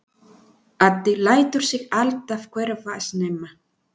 Addi lætur sig alltaf hverfa snemma.